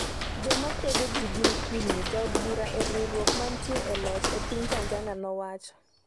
“Joma kwedo ji gin kudni” jaod bura e riwruok manitie e loch e piny Tanzania nowacho